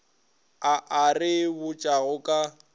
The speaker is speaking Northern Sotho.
a a re botšago ka